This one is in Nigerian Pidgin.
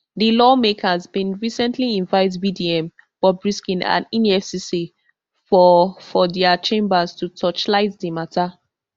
di lawmakers bin recently invite vdm bobrisky and efcc for for dia chambers to torchlight di mata